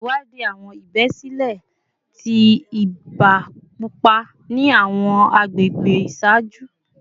Ṣewadii awọn ibesile ti iba pupa ni awọn agbegbe iṣaaju